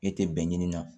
E tɛ bɛn ɲini na